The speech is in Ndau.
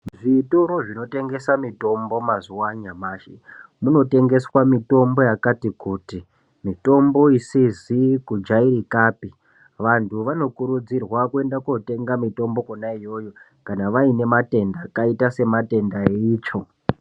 Zvitoro zvinotengesa mitombo mazuwa anyamashi, munotengeswa mitombo yakati kuti, mitombo isizi kujairikapi. Vantu vanokurudzirwa kuenda kotenga mitombo kwona iyoyo, kana vaine matenda akaita sematenda eitsvo.